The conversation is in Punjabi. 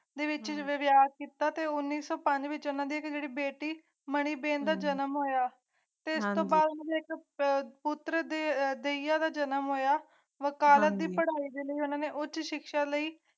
ਪ੍ਰੀਤਨਗਰ ਵਿਆਹ ਕੀਤਾ ਅਤੇ ਉਣੀ ਸੀ ਪੰਜ ਵਿੱਚ ਉਨ੍ਹਾਂ ਦੀ ਏਕ ਬੇਟੀ ਕ੍ਰਿਤੀਆਂ ਦਾ ਜਨਮ ਹੋਇਆ ਭੈਣ ਭਰਾ ਸੈਕਸ ਕਰਦੇ ਐ ਦਾ ਯਤਨ ਹੋਇਆ ਹੈ ਭਾਰਤ ਵਰਗੀਆਂ ਉੱਚ ਸਿੱਖਿਆ ਲਈ